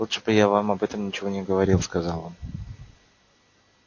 лучше бы я вам об этом ничего не говорил сказал он